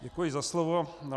Děkuji za slovo.